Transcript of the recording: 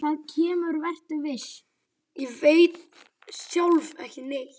Ég veit sjálf ekki neitt.